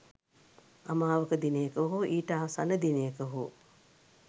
අමාවක දිනයක හෝ ඊට ආසන්න දිනයක හෝ